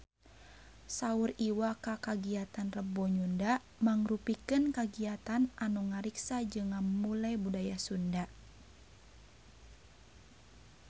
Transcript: Saur Iwa K kagiatan Rebo Nyunda mangrupikeun kagiatan anu ngariksa jeung ngamumule budaya Sunda